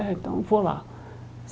É então vou lá.